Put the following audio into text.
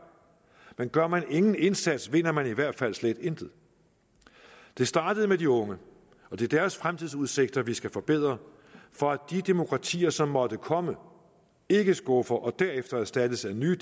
men gør man ingen indsats vinder man i hvert fald slet intet det startede med de unge og det er deres fremtidsudsigter vi skal forbedre for at de demokratier som måtte komme ikke skuffer og derefter erstattes af nye